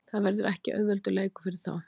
Það verður ekki auðveldur leikur fyrir þá.